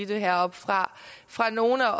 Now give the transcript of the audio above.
det heroppefra fra nogle af